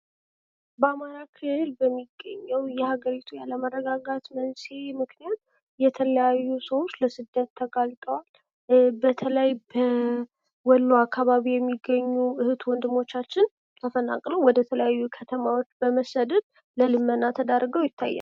በአማራ ክልል የሚገኘው የሀገሪቱ አለመረጋጋት በዚህ ምክንያት የተለያዩ ሰዎች ለስደት ተጋልጠዋል በተለይ በወሎ አካባቢ እህት ወንድሞቻችን ተፈናቅለው ወደተለያዩ ክልል ከተሞች በመሰደድ ለልመና ተዳርገው ይታያሉ።